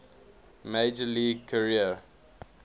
major league career